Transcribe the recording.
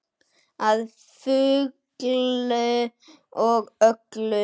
Að fullu og öllu.